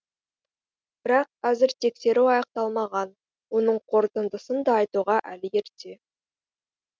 бірақ әзір тексеру аяқталмаған оның қортындысын да айтуға әлі ерте